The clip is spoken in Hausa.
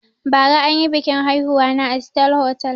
Bara anyi biƙin aihuwa na a sitar hotal